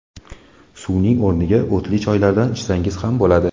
Suvning o‘rniga o‘tli choylardan ichsangiz ham bo‘ladi.